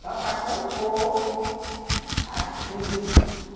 Só para compor as tribos.